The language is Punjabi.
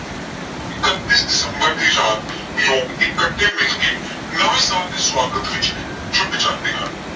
ਇਕੱਤੀ ਦੰਸਬਰ ਦੀ ਰਾਤ ਲੋਕ ਇਕੱਠੇ ਮਿਲਕੇ ਨਵਾਂ ਸਾਲ ਦੀ ਸਵਾਗਤ ਵਿੱਚ ਜੁੱਟ ਜਾਂਦੇ ਹਨ।